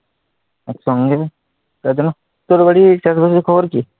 করে দিলাম তোর আর কি?